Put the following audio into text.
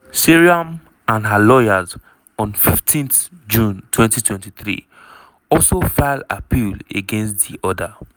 seyram and her lawyers on 15 june 2023 also file appeal against di order.